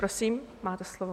Prosím, máte slovo.